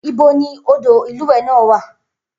Ibo ni odò ìlúwẹ̀ẹ́ náà wà?